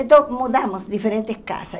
Então, mudamos diferentes casas.